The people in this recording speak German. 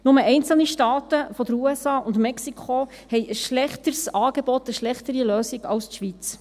Nur einzelne Staaten in den USA und in Mexiko haben ein schlechteres Angebot, eine schlechtere Lösung als die Schweiz.